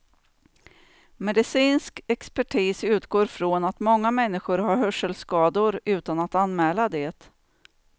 Medicinsk expertis utgår också från att många människor har hörselskador utan att anmäla det.